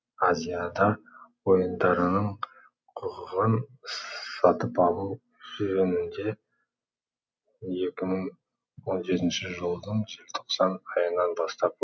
азиада ойындарының құқығын сатып алу жөнінде екі мың он жетінші жылдың желтоқсан айынан бастап